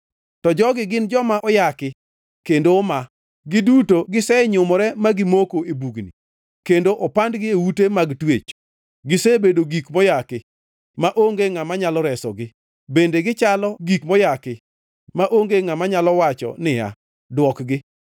To jogi gin joma oyaki kendo omaa, giduto gisenyumore ma gimoko e bugni, kendo opandgi e ute mag twech. Gisebedo gik moyaki maonge ngʼama nyalo resogi; bende gichalo gik moyaki maonge ngʼama nyalo wacho niya, “Dwokgi.”